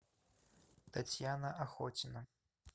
татьяна охотина